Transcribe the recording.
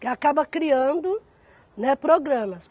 Que acaba criando, né programas.